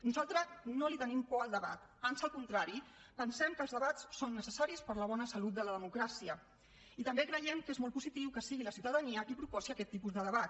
nosaltres no tenim por al debat ans el contrari pensem que els debats són necessaris per a la bona salut de la democràcia i també creiem que és molt positiu que sigui la ciutadania qui proposi aquest tipus de debat